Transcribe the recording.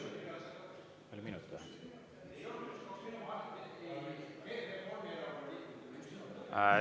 Või oli minut?